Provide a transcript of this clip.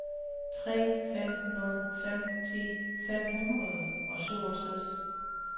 tre fem nul fem ti fem hundrede og syvogtres